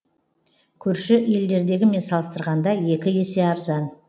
көрші елдердегімен салыстырғанда екі есе арзан